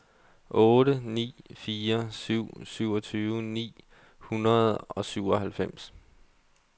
otte ni fire syv syvogtyve ni hundrede og syvoghalvfems